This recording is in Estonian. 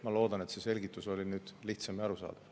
Ma loodan, et see selgitus oli lihtsam ja arusaadavam.